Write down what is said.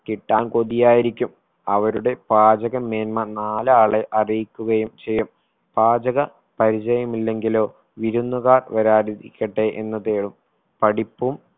കിട്ടാൻ കൊതിയായിരിക്കും അവരുടെ പാചക മേന്മ നാലാളെ അറിയിക്കുകയും ചെയ്യും പാചക പരിചയം ഇല്ലെങ്കിലോ വിരുന്നുകാർ വരാതിരിക്കട്ടെ എന്ന് തേറും പഠിപ്പും